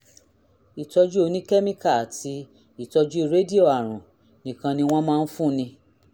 ìtọ́jú oníkẹ́míkà àti ìtọ́jú rédíò àrùn nìkan ni wọ́n máa ń fúnni